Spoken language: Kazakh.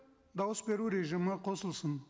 дауыс беру режимі қосылсын